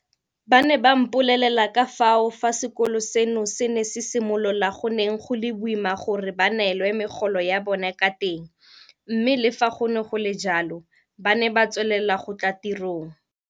Ba ne ba mpolelela ka fao fa sekolo seno se ne se simolola go neng go le boima gore ba neelwe megolo ya bona ka teng mme le fa go ne go le jalo ba ne ba tswelela go tla tirong.